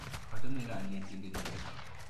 Achame kanetindet nyu.